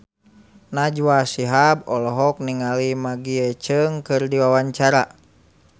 Najwa Shihab olohok ningali Maggie Cheung keur diwawancara